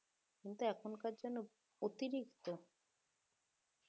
কিন্তু এখনকার জানো অতিরিক্ত